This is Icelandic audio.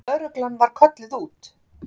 Lögreglan var kölluð út.